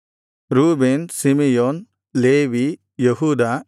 Reuben Simeon Levi ಯೆಹೂದ